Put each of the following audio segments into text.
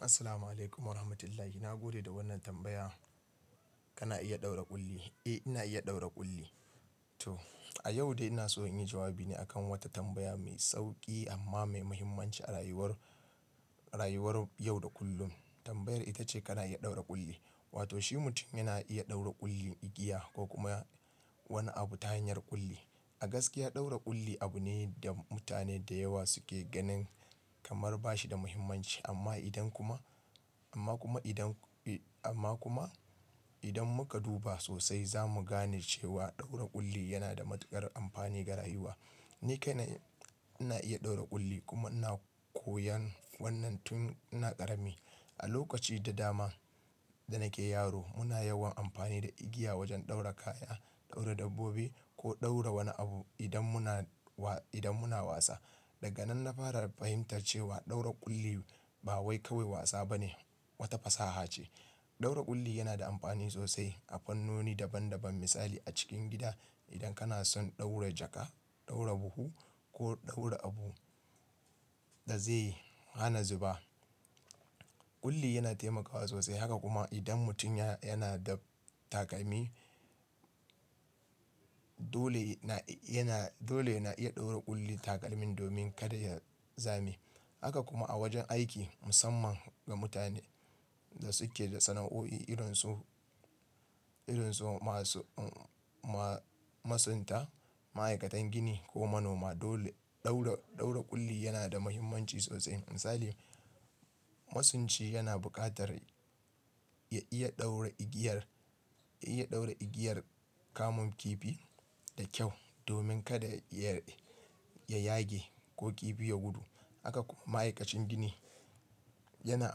Assalamu alaikum wa rahmatullahi. Na gode da wannan tambaya. Kana iya ɗaura ƙulli? Eh, ina iya ɗaura ƙulli. To, a yau dai ina so in yi jawabi ne a kan wata tambaya mai sauƙi amma mai muhimmanci a rayuwar, rayuwar yau da kullum. Tambayar ita ce kana iya ɗaura ƙulli, wato shi mutum yana iya ɗaura ƙullin igiya ko kuma wani abu ta hanyar ƙulli. A gaskiya ɗaura ƙulli abu ne da mutane da yawa suke ganin kamar ba shi da muhimmanci. Amma idan kuma, amma kuma idan, amma kuma idan muka duba sosai za mu gane cewa ɗaura ƙulli yana da matuƙar amfani ga rayuwa. Ni kai na, ina iya ɗaura ƙulli kuma ina koyan wannan tun ina ƙarami. A lokaci da dama da nake yaro muna yawan amfani da igiya wajen ɗaura kaya, ɗaura dabbobi ko ɗaura wani abu idan muna wa, idan muna wasa. Daga nan na fara fahimtar cewa ɗaura ƙulli ba wai kawai wasa ba ne, wata fasaha ce. Ɗaura ƙulli yana da amfani sosai a fannoni daban daban. Misali a cikin gida idan kana son ɗaura jaka, ɗaura buhu ko ɗaura abu da zai hana zuba. Ƙulli yana taimakawa sosai. Haka kuma idan mutum ya-yana da takalmi, dole na, yana, dole na iya ɗaura ƙulli takalmin domin kada ya zame. Haka kuma a wajen aiki, musamman ga mutane da suke da sana'o'i irin su, irin su ma su, ma-masunta, ma'aikatan gini ko manoma. Dole ɗaura, ɗaura ƙulli yana da muhimmanci sosai. Misali, masunci yana buƙatar ya iya ɗaura igiyar, ya iya ɗaura igiyar kamun kifi da kyau domin kada ya yage ko kifi ya gudu. Haka kuma ma'aikacin gini yana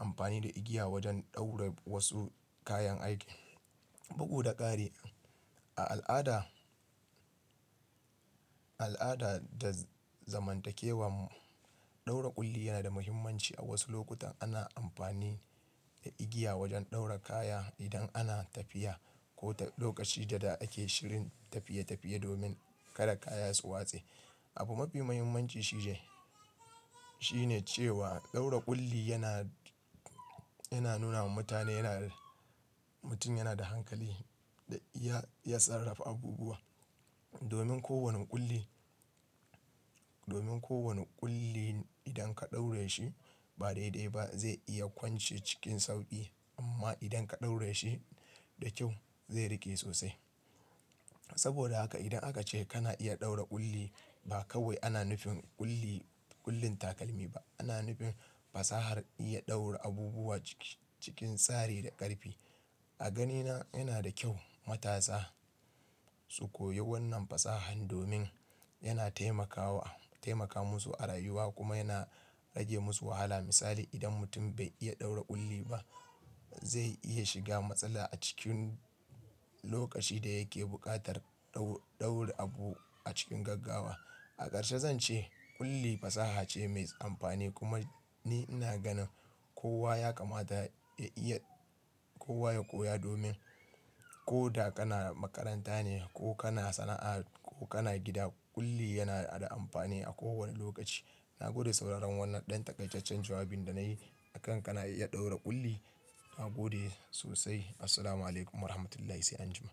amfani da igiya wajen ɗaura wasu kayan aiki, bugu da ƙare. A al'ada, al'ada da zamantakewar mu, ɗaura ƙulli yana da muhimmanci. A wasu lokutan ana amfani da igiya wajen ɗaura kaya idan ana tafiya ko lokaci da ake shirin tafiye tafiye domin kada kaya su watse. Abu mafi muhimmanci shine, shine cewa ɗaura ƙulli yana, yana nuna ma mutane yana, mutum yana da hankali da iya tsarrafa abubuwa. Domin kowane ƙulli, domin kowane ƙulli idan ka ɗaure shi ba daidai ba zai iya kwance cikin sauƙi amma idan ka ɗaure shi da kyau zai riƙe sosai. Saboda haka idan aka ce kana iya ɗaura ƙulli ba kawai ana nufin ƙulli, ƙullin takalmi ba, ana nufin fasahar iya ɗaura abubuwa ciki-cikin tsari da ƙarfi. A ganina yana da kyau matasa su koyi wannan fasahan domin yana taimakawa, taimaka musu a rayuwa kuma yana rage musu wahala. Misali idan mutum bai iya ɗaura ƙulli ba zai iya shiga matsala a cikin lokaci da yake buƙatar ɗaur-ɗaura abu a cikin gaggawa. A ƙarshe zan ce ƙulli fasaha ce mai amfani kuma ni ina ganin kowa ya kamata ya iya, kowa ya koya domin ko da kana makaranta ne ko kana sana'a ko kana gida, ƙulli yana da amfani a kowane lokaci. Na gode sauraron wannan ɗan takaitaccen jawabin da na yi a kan kana iya ɗaura ƙulli. Na gode sosai. Assalamu alaikum wa rahmatullahi sai anjima.